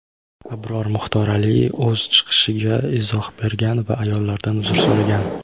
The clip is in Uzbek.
Abror Muxtor Aliy o‘z chiqishiga izoh bergan va ayollardan uzr so‘ragan.